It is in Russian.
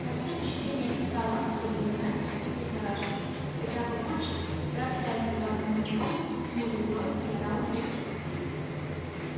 на следующий день я не стала особенно краситься и прихорашиваться хотя папульчик раз пять вбегал ко мне в комнату хмурил брови и орал на весь дом